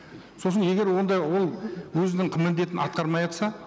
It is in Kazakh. сосын егер онда ол өзінің міндетін атқармайатса